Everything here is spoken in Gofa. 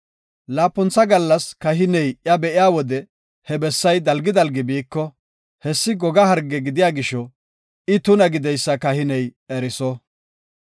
Laapuntha gallas kahiney iya be7iya wode he bessay dalgi dalgi biiko, hessi goga harge gidiya gisho I tuna gideysa kahiney eriso.